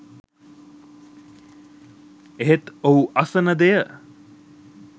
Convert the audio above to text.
එහෙත් ඔහු අසන දෙය